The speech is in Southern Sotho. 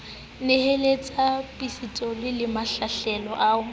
nyahlatsa pistolo le mahlahlelo a